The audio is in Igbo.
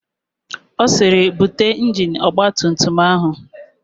Ọ sịrị, "bute injini ọgbatumtum áhụ̀"!